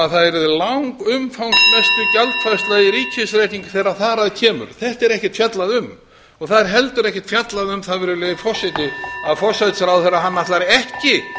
að það yrði langumfangsmesta gjaldfærsla í ríkisreikningi þegar þar að kemur um þetta er ekkert fjallað og ekki heldur um það að forsætisráðherra ætlar ekki